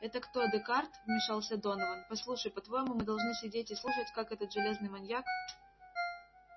это кто декарт вмешался донован послушай по-твоему мы должны сидеть и слушать как этот железный маньяк